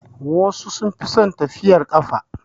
Wasu sun fi son tafiyar ƙafa.